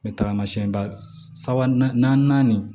N bɛ tagamasɛn ba saba naani